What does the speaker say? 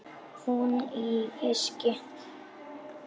Hún í fiski.